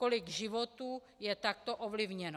Kolik životů je takto ovlivněno.